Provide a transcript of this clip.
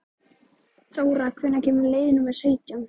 Þóra, hvenær kemur leið númer sautján?